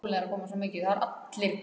Það heyrist í bíl í nálægri götu.